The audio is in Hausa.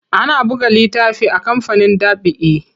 Ana buga littafi a kamfanin ɗab'i.